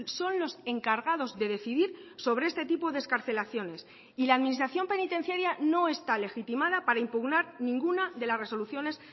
son los encargados de decidir sobre este tipo de excarcelaciones y la administración penitenciaria no está legitimada para impugnar ninguna de las resoluciones